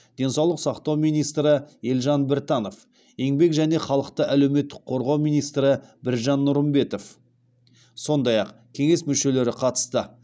денсаулық сақтау министрі елжан біртанов еңбек және халықты әлеуметтік қорғау министрі біржан нұрымбетов сондай ақ кеңес мүшелері қатысты